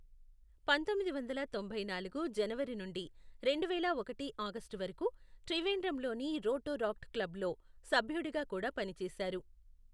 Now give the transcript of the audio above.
పంతొమ్మిది వందల తొంభై నాలుగు జనవరి నుండి రెండువేల ఒకటి ఆగస్టు వరకు, త్రివేండ్రంలోని రోటోరాక్ట్ క్లబ్లో సభ్యుడిగా కూడా పనిచేశారు.